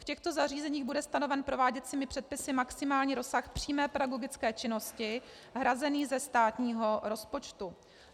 V těchto zařízeních bude stanoven prováděcími předpisy maximální rozsah přímé pedagogické činnosti hrazený ze státního rozpočtu.